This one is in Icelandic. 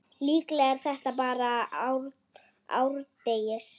Líklega er þetta bara árdegis